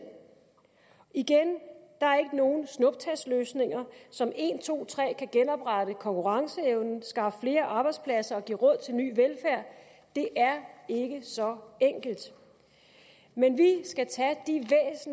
igen der er ikke nogen snuptagsløsninger som en to tre kan genoprette konkurrenceevnen skaffe flere arbejdspladser og give råd til ny velfærd det er ikke så enkelt men